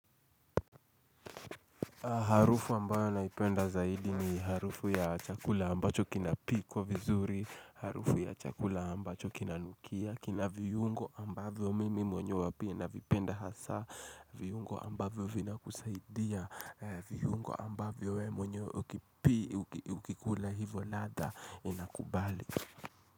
Harufu ambayo naipenda zaidi ni harufu ya chakula ambacho kinapikwa vizuri, harufu ya chakula ambacho kinanukia, kina viungo ambavyo mimi mwenye pia navipenda hasa, viungo ambayo vinakusaidia, viungo ambayo wewe mwenyewe ukikula hivo ladha inakubali.